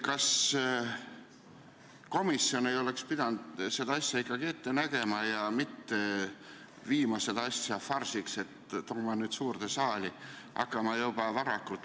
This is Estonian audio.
Kas komisjon ei oleks pidanud seda asja ette nägema ja farsi ära hoidma, selle asemel et see suurde saali tuua?